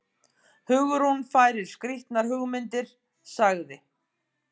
Hugrún fær skrýtnar hugmyndir- sagði